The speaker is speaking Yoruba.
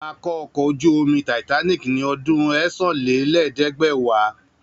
A kọ́ ọkọ̀ ojú-omi Titanic ní ọdún ẹ́sán-lé-ẹ̀ẹ́dẹ́gbẹ̀wá